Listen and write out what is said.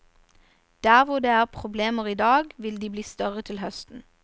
Der hvor det er problemer i dag, vil de bli større til høsten.